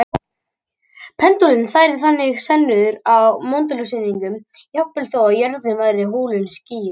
Pendúllinn færir þannig sönnur á möndulsnúninginn jafnvel þó að jörðin væri hulin skýjum.